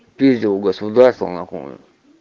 пиздил у государства на хуй